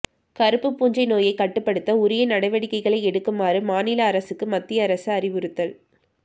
கருப்பு பூஞ்சை நோயை கட்டுப்படுத்த உரிய நடவடிக்கைளை எடுக்குமாறு மாநில அரசுகளுக்கு மத்திய அரசு அறிவுறுத்தல்